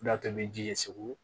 O y'a to ni ji ye segu